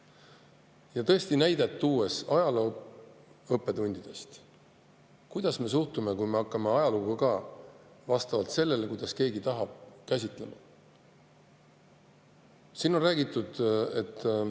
Ja toon näite ajalootundidest: kuidas me suhtume, kui me hakkame ajalugu ka käsitlema vastavalt sellele, kuidas keegi tahab?